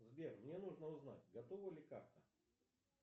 сбер мне нужно узнать готова ли карта